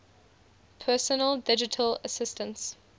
personal digital assistants